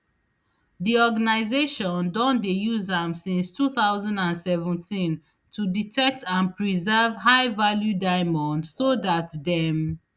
di organisation don dey use am since two thousand and seventeen to detect and preserve highvalue diamonds so dat dem